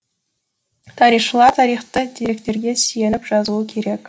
тарихшылар тарихты деректерге сүйеніп жазуы керек